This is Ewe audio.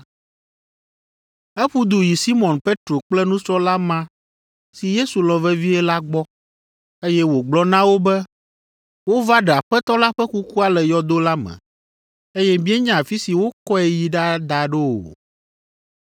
Eƒu du yi Simɔn Petro kple nusrɔ̃la ma si Yesu lɔ̃ vevie la gbɔ, eye wògblɔ na wo be, “Wova ɖe Aƒetɔ la ƒe kukua le yɔdo la me, eye míenya afi si wokɔe yi ɖada ɖo o!”